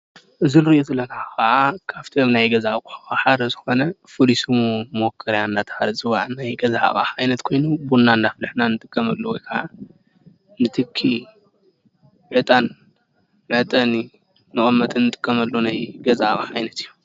እዚ እንሪኦ ዘለና ከዓ ካብቶም ናይ ገዛ ኣቑሑ ሓደ ዝኮነ ፍሉይ ሽሙ መኹርያ እንዳተባሃለ ዝፅዋዕ ናይ ገዛ ኣቕሓ ቡና እንዳፍላሕና እንጥቀመሉ ወይ ከዓ ንትኺ ዕጣን መዕጠኒ መቀመጢ እንጥቀመሉ ናይ ገዛ ኣቕሓ ዓይነት እዩ።